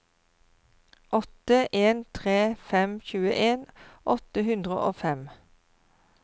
åtte en tre fem tjueen åtte hundre og fem